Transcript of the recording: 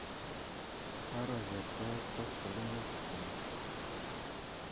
Kwaro Chepkoech koskoling'ut ap amut